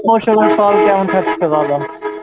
ফল কেমন খাচ্ছ বল।